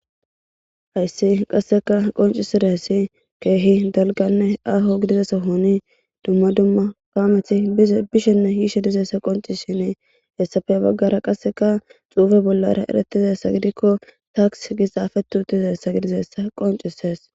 Hayssi qasseka qoncisira essi keehi dalganne aho gidizasa honi dumma dumma kaamethi bishenne hiishe dizessa qonci shiini hessafe baggara qasseka xuufe bollara eretizessa gidikko taaks gixaafetuutizessa gidizessa qoncisees.